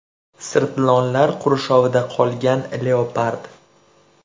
Sirtlonlar qurshovida qolgan leopard.